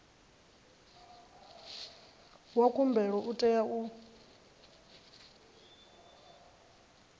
wa khumbelo u tea u